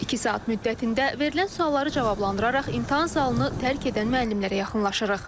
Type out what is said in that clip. İki saat müddətində verilən sualları cavablandıraraq imtahan zalını tərk edən müəllimlərə yaxınlaşırıq.